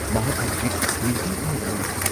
ꯃꯍꯥꯛ ꯍꯧꯖꯤꯛ ꯃꯤꯇꯤꯡ ꯑꯃꯗ ꯂꯩꯔꯤ꯫